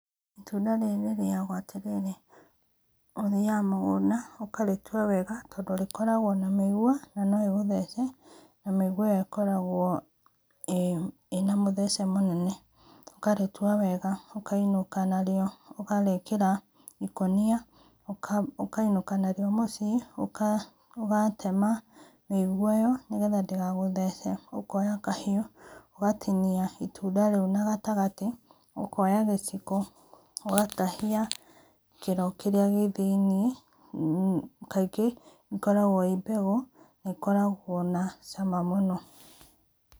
Itũnda rĩrĩ rĩrĩagwo atĩrĩrĩ, ũthĩaga mũgũnda ũkarĩtũa wega tondũ nĩ ĩkoragwo na mĩigũa na no ĩgũthece, na mĩigũa ĩyo ĩkoragwo ĩna mũthece mũnene. Ũkarĩtũa wega ũkaĩnũka narĩo ũkarĩkĩra ikũnĩa ũkainũka narĩo mũciĩ, ũgatema mĩigũa ĩyo nĩ getha ndĩgagũthece ũkoya kahĩũ ũgatĩnĩa itunda rĩu na gatagatĩ, ũkoya gĩciko ũgatahia kĩro kĩrĩa gĩ thĩiniĩ, kaingĩ ikoragwo kĩ mbegũ na ikoragwo na cama mũno.